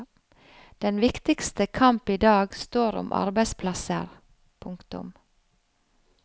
Den viktigste kamp idag står om arbeidsplasser. punktum